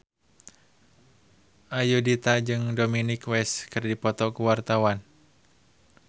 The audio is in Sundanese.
Ayudhita jeung Dominic West keur dipoto ku wartawan